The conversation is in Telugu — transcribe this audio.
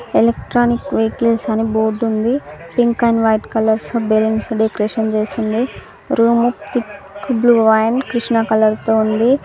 ఎలక్ట్రానిక్ వెహికల్స్ అని బోర్డు ఉంది పింక్ అండ్ వైట్ కలర్స్ తో బెలూన్స్డె డెకరేషణ్ చేసింది room thick blue and Krishna colour తో ఉంది.